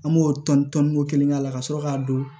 An b'o tɔn tɔn nin ko kelen k'a la ka sɔrɔ k'a don